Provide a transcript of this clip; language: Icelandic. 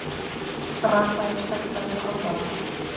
Rafael sektaður og aðvaraður